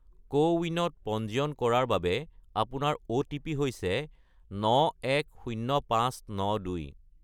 কোৱিনত পঞ্জীয়ন কৰাৰ বাবে আপোনাৰ অ'টিপি হৈছে 910592